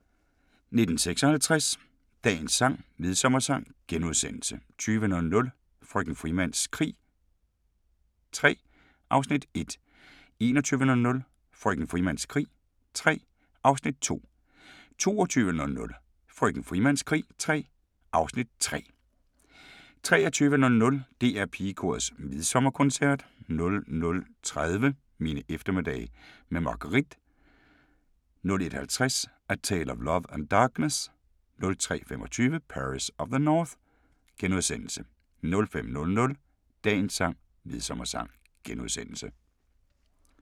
19:56: Dagens sang: Midsommersang * 20:00: Frøken Frimans krig III (Afs. 1) 21:00: Frøken Frimans krig III (Afs. 2) 22:00: Frøken Frimans krig III (Afs. 3) 23:00: DR Pigekorets Midsommerkoncert 00:30: Mine eftermiddage med Margueritte 01:50: A Tale of Love and Darkness 03:25: Paris of the North * 05:00: Dagens sang: Midsommersang *